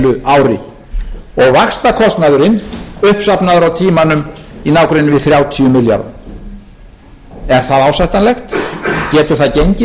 heilu ári og vaxtakostnaðurinn uppsafnaður á tímanum í nágrenni við þrjátíu milljarða er það ásættanlegt getur það gengið